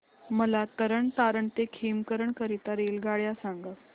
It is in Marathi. मला तरण तारण ते खेमकरन करीता रेल्वेगाड्या सांगा